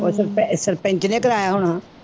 ਉਹ ਸਰਪੈ ਸਰਪੰਚ ਨੇ ਕਰਵਾਇਆ ਹੋਣਾ।